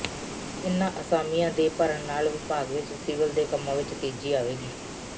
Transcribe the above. ਇਨ੍ਹਾਂ ਅਸਾਮੀਆਂ ਦੇ ਭਰਨ ਨਾਲ ਵਿਭਾਗ ਵਿਚ ਸਿਵਲ ਦੇ ਕੰਮਾਂ ਵਿਚ ਤੇਜ਼ੀ ਆਵੇਗੀ